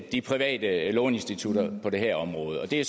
de private låneinstitutter på det her område og det